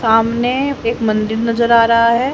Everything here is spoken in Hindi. सामने एक मंदिर नजर आ रहा है।